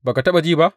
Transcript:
Ba ka taɓa ji ba?